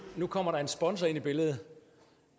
kommer der en sponsor ind i billedet